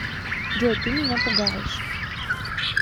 джой ты меня пугаешь